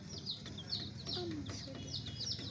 t a mmuso di a